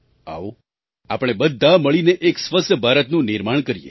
આવો આપણે બધા મળીને એક સ્વસ્થ ભારતનું નિર્માણ કરીએ